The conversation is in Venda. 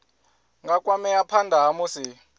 nga kwamea phana ha musi